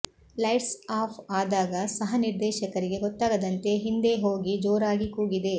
lights off ಆದಾಗ ಸಹನಿರ್ದೇಶಕರಿಗೆ ಗೊತ್ತಾಗದಂತೆ ಹಿಂದೆ ಹೋಗಿ ಜೋರಾಗಿ ಕೂಗಿದೆ